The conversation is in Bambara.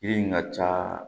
Yiri in ka ca